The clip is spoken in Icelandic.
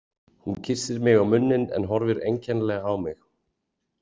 Hún kyssir mig á munninn en horfir einkennilega á mig.